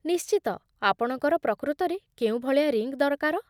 ନିଶ୍ଚିତ, ଆପଣଙ୍କର ପ୍ରକୃତରେ କେଉଁ ଭଳିଆ ରିଙ୍ଗ୍ ଦରକାର?